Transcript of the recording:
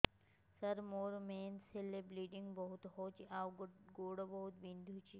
ସାର ମୋର ମେନ୍ସେସ ହେଲେ ବ୍ଲିଡ଼ିଙ୍ଗ ବହୁତ ହଉଚି ଆଉ ଗୋଡ ବହୁତ ବିନ୍ଧୁଚି